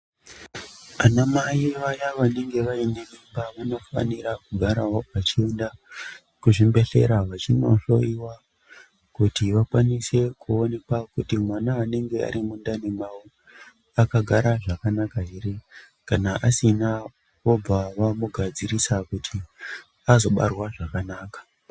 Ana mai vaya vanenge vaine mimba vanofanira kugarawo vachienda kuzvimbehlera vachinohloyiwa, kuti vakwanise koonekwa kuti mwana ari mundani mavo akagara zvakanaka ere kana asina vobva vamugadzirisa kuti azobarwa zvakanaka.